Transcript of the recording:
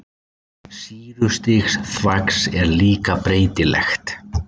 Sýrustig þvags er líka breytilegt.